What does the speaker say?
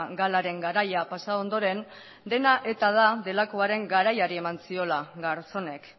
galaren garaia pasa ondoren dena eta da delakoaren garaiari eman ziola garzonek